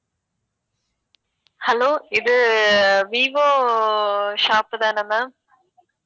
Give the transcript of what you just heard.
hello இது vivo shop தான ma'am